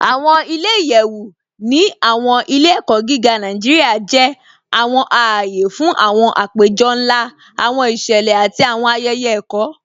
Awọn ilẹ̀-iyẹ̀wu ni awọn ilẹ̀-ẹ̀kọ gígá Nàìjíríà jẹ́ awọn ààyè fún awọn àpẹ̀jọ̀ nlá, awọn ìṣẹlẹ̀, àti awọn ayẹyẹ ẹ̀kọ.